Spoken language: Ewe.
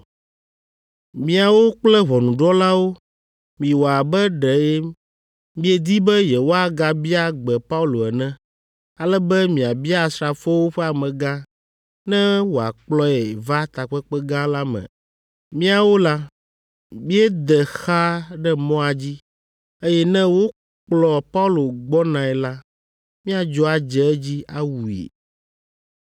Miawo kple ʋɔnudrɔ̃lawo, miwɔ abe ɖe miedi be yewoagabia gbe Paulo ene, ale be miabia asrafowo ƒe amegã ne wòakplɔe va takpekpe gã la me. Míawo la, míade xa ɖe mɔa dzi, eye ne wokplɔ Paulo gbɔnae la, míadzo adze edzi, awui.”